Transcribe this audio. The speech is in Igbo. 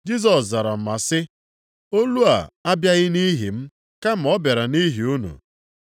Jisọs zara ma sị, “Olu a abịaghị nʼihi m kama ọ bịara nʼihi unu.